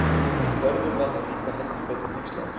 Hörður var nú líka heldur betur hneykslaður.